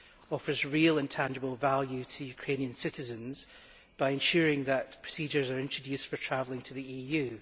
offers real and tangible value to Ukrainian citizens by ensuring that procedures are introduced for travelling to the EU.